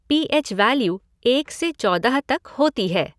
PH value एक से चौदह तक होती है।